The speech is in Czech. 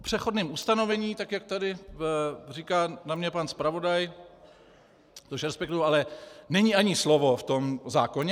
O přechodném ustanovení, tak jak tady říká na mě pan zpravodaj, což respektuji, ale není ani slovo v tom zákoně.